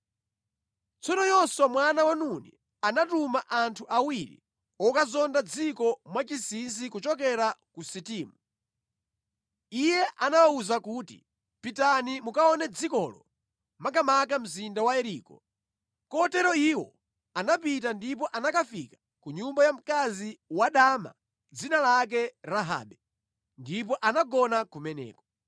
Tsono Yoswa mwana wa Nuni anatuma anthu awiri okazonda dziko mwachinsinsi kuchokera ku Sitimu. Iye anawawuza kuti, “Pitani mukaone dzikolo makamaka mzinda wa Yeriko.” Kotero iwo anapita ndipo anakafika ku nyumba ya mkazi wadama dzina lake Rahabe, ndipo anagona kumeneko.